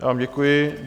Já vám děkuji.